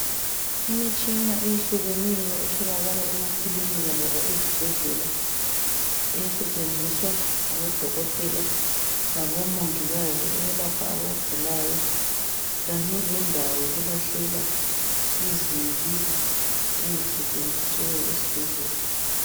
Imitshina eyehlukeneyo etholakala emaklinika loba ezibhedlela esetshenziswa ngabodokotela labomongikazi ukwelapha abantu abagulayo kanye lendawo yokulahlela izibi ezisetshenziwe esibhedlela